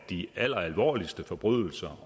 de alleralvorligste forbrydelser